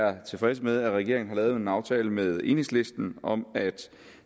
er tilfredse med at regeringen har lavet en aftale med enhedslisten om at